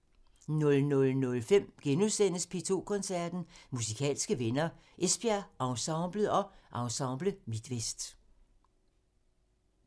00:05: P2 Koncerten – Musikalske venner: Esbjerg Ensemblet og Ensemble Midtvest *